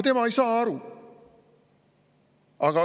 Tema ei saa aru.